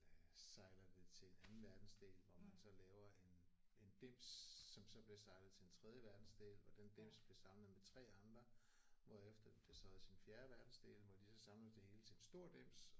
Øh sejler det til en anden verdensdel hvor man så laver en en dims som så bliver sejlet til en tredje verdensdel hvor den dims bliver samlet med 3 andre hvorefter det bliver sejlet til en fjerde verdensdel hvor de så samler det hele til en stor dims